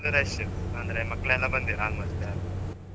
Full ಲ್ಲು rush ಉ ಅಂದ್ರೆ ಮಕ್ಕ್ಲೆಲ್ಲ ಬಂದಿರ್ almost all